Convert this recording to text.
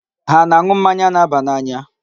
Ha ana-aṅụ mmanya na-aba n'anya?